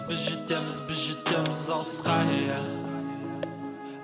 біз жетеміз біз жетеміз алысқа иә